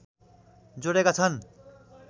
जोडेका छन्